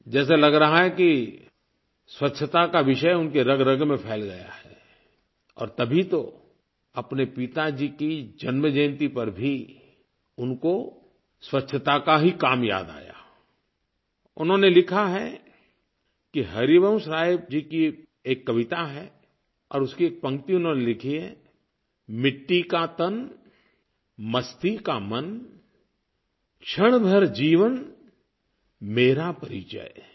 जैसे लग रहा है कि स्वच्छता का विषय उनके रगरग में फैल गया है और तभी तो अपने पिताजी की जन्मजयंती पर भी उनको स्वच्छता का ही काम याद आयाI उन्होंने लिखा है कि हरिवंशराय जी की एक कविता है और उसकी एक पंक्ति उन्होंने लिखी है मिट्टी का तन मस्ती का मन क्षण भर जीवन मेरा परिचय